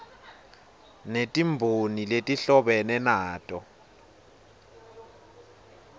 netimboni letihlobene nato